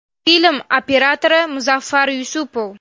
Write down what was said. Film operatori Muzaffar Yusupov.